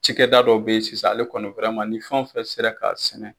Cɛkɛda dɔ bɛ yen sisan ale kɔni ni fɛn wo fɛn sera k'a sɛnɛ.